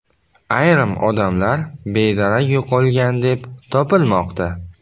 Ayrim odamlar bedarak yo‘qolgan deb topilmoqda.